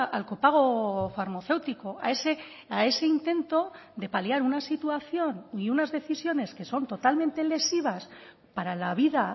al copago farmacéutico a ese intento de paliar una situación y unas decisiones que son totalmente lesivas para la vida